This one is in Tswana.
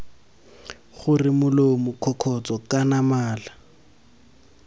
gore molomo kgokgotsho kana mala